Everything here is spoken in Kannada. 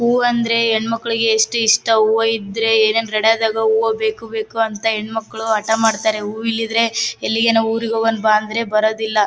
ಹೂವಂದ್ರೆ ಹೆಣ್ಣಮಕ್ಕಳಿಗೆ ಎಷ್ಟು ಇಷ್ಟಾ ಹೂವಾ ಇದ್ರೆ ಏನ್ ರಡದಗ್ ಹೂವಾ ಬೇಕು ಬೇಕು ಅಂತ ಹೆಣ್ಣಮಕ್ಕಳು ಹಠ ಮಾಡತ್ತರೆ ಹೂ ಇಲ್ಲಿದ್ರೆ ಎಲ್ಲಿಗಾನ್ ಊರಿಗ್ ಹೋಗನ್ ಬಾ ಅಂದ್ರೆ ಬರೋದಿಲ್ಲಾ .